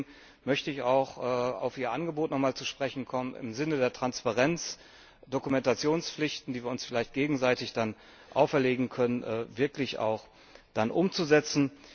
Deswegen möchte ich auch auf Ihr Angebot noch einmal zu sprechen kommen, im Sinne der Transparenz Dokumentationspflichten, die wir uns vielleicht gegenseitig dann auferlegen können, wirklich umzusetzen.